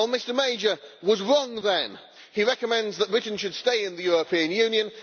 Mr Major was wrong then. He recommends that Britain should stay in the European Union.